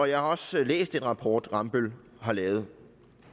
jeg har også læst den rapport rambøll har lavet